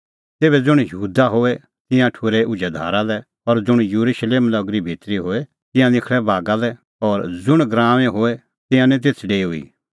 तेभै ज़ुंण यहूदा दी होए तिंयां ठुर्है उझै धारा लै और ज़ुंण येरुशलेम नगरी भितरी होए तिंयां निखल़ै बागा लै और ज़ुंण गराऊंऐं होए तिंयां निं तेथ डेऊई